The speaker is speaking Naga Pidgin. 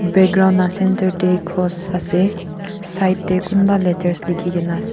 background la centre de cross ase side de kumba letters likhi gina ase.